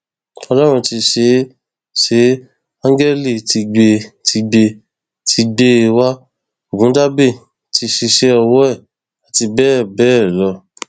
ọlọrun ti ṣeé ṣeé áńgẹlì tìgbètìgbé ti gbé e wá ọgùndàbẹdẹ ti ṣíṣe ọwọ ẹ àti bẹẹ bẹẹ lọ